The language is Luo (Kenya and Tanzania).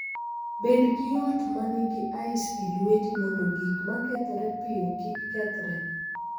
Bed gi ot ma nigi ice e lweti mondo gik ma kethore piyo kik kethre.